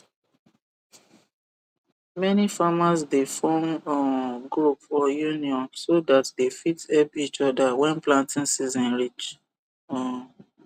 many farmers dey form um group or union so that they fit help each other when planting season reach um